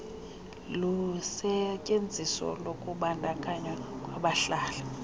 lusetyenziso lokubandakanywa kwabahlali